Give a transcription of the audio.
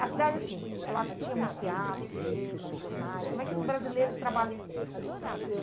A cidade, assim, ela tinha muitos teatros, cinemas, jornais, como é que os brasileiros trabalha ãh,